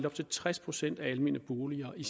op til tres procent almene boliger i